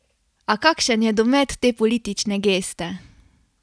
A kakšen je domet te politične geste?